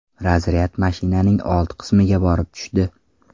Razryad mashinaning old qismiga borib tushdi.